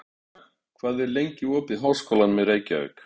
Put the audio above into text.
Makan, hvað er lengi opið í Háskólanum í Reykjavík?